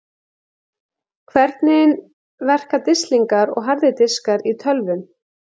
Hvernig verka disklingar og harðir diskar í tölvum?